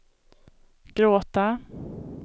gråta